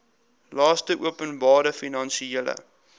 laste openbare finansiële